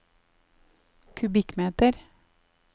kubikkmeter